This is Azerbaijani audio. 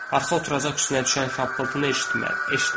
Arxa oturacaq üstünə düşən xırıltını eşitmişdi.